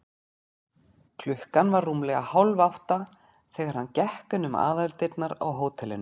Klukkan var rúmlega hálfátta, þegar hann gekk inn um aðaldyrnar á hótelinu.